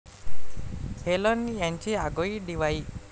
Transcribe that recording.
Helen यांची आगळी दिवाळी